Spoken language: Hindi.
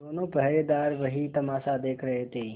दोनों पहरेदार वही तमाशा देख रहे थे